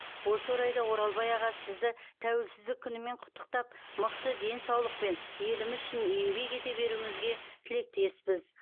осы орайда оралбай аға сізді тәуелсіздік күнімен құтықтап мықты денсаулықпен еліміз үшін еңбек ете беруіңізге тілектеспіз